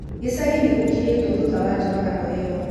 Gĩchagĩ nĩ gũkirĩtwo thutha wa njuragano ĩyo